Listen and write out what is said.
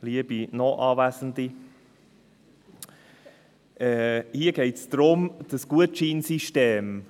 Liebe Noch-Anwesende, hier geht es um dieses Gutschein-System …